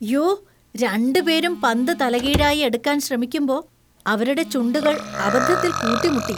യ്യോ! രണ്ടുപേരും പന്ത് തലകീഴായി എടുക്കാൻ ശ്രമിക്കുമ്പോ അവരുടെ ചുണ്ടുകൾ അബദ്ധത്തിൽ കൂട്ടിമുട്ടി.